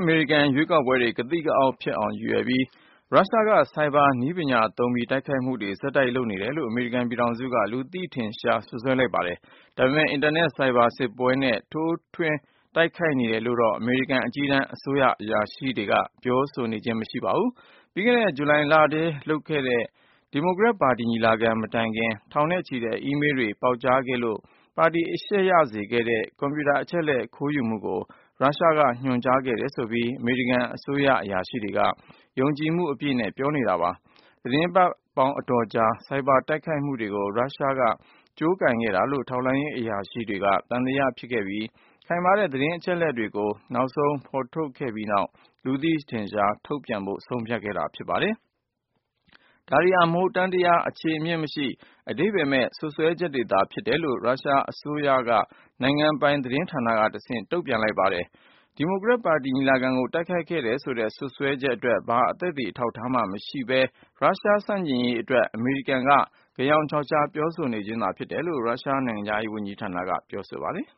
အမေရိကန်ရွေးကောက်ပွဲတွေ ကသိကအောက် ဖြစ်အောင် ရည်ရွယ် ပြီး ရုရှားက cyber နည်းပညာသုံးပြီး တိုက်ခိုက်မှုတွေ ဆက်တိုက် လုပ်နေတယ်လို့ အမေရိကန်ပြည်ထောင်စုက လူသိရှင်ကြား စွပ်စွဲလိုက်ပါတယ်။ ဒါပေမယ် အင်တာနက် ဆိုင်ဘာစစ်ပွဲနဲ့ ထိုးထွင်းတိုက်ခိုက်နေတယ်လို့တော့ အမေရိကန် အကြီးတန်း အစိုးရအရာရှိတွေက ပြောဆိုခြင်းမရှိပါဘူး။ ပြီးခဲ့တဲ့ ဂျူလိုင်လထဲလုပ်တဲ့ ဒီမိုကရက်ပါတီညီလာခံ မတိုင်ခင် ထောင်နဲ့ချီတဲ့ အီးမေးလ်တွေ ပေါက်ကြားခဲ့လို့ ပါတီအရှက်ရစေခဲ့တဲ့ ကွန်ပျူတာအချက်လက် ခိုးယူမှုကို ရုရှားက ညွှန်ကြားခဲ့တယ်ဆိုပြီး အမေရိကန် အစိုးရအရာရှိတွေက ယုံကြည်မှုအပြည့်နဲ့ပြော နေတာပါ။ သီတင်းပတ်ပေါင်းအတော်ကြာ ဆိုင်ဘာတိုက်ခိုက်မှုတွေကို ရုရှားကကြိုးကိုင်ခဲ့ တာလို့ ထောက်လှမ်းရေးအရာရှိတွေက သံသယဖြစ်ခဲ့ကြပြီး၊ ခိုင်မာတဲ့ သတင်း အချက်အလက်တွေကို နောက်ဆုံးဖေါ်ထုတ်ခဲ့ပြီးနောက် လူသိထင်ရှားထုတ်ပြန်ဖို့ ဆုံးဖြတ်ခဲ့ကြတာပါတယ်။ ဒါတွေဟာ မဟုတ်တမ်းတရား အခြေအမြစ်မရှိ အဓိပ္ပါယ်မဲ့ စွပ်စွဲချက်တွေသာ ဖြစ်တယ်လို့ ရုရှားအစိုးရက နိုင်ငံပိုင်သတင်းဌာနကနေ တဆင့် ငြင်းဆို တုန့်ပြန် လိုက်ပါတယ်။ ဒီမိုကရက်ပါတီညီလာခံကို တိုက်ခိုက်ခဲ့တယ် ဆိုတဲ့စွပ်စွဲချက်အတွက် ဘာ သက်သေ အထောက် အထားမှမရှိပဲ ရုရှားဆန့်ကျင်ရေးအတွက် အမေရိကန်က ဂယောင်ခြောက်ခြား ပြောနေခြင်းသာ ဖြစ်တယ်လို့ ရုရှားနိုင်ငံခြားရေးဝန်ကြီး ဌာနက ပြောပါတယ်